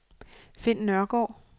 Finn Nørgaard